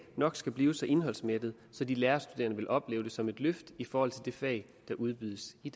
nok skal blive så indholdsmættet at de lærerstuderende vil opleve det som et løft i forhold til de fag der udbydes i